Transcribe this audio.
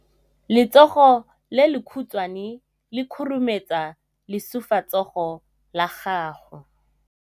Letsogo le lekhutshwane le khurumetsa lesufutsogo la gago.